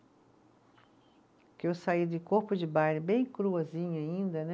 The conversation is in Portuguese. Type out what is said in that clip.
Porque eu saí de corpo de baile bem cruazinha ainda, né?